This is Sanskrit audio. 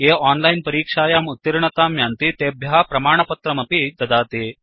ये ओनलाइन् परीक्षायाम् उत्तीर्णतां यान्ति तेभ्य प्रमाणपत्रमपि ददाति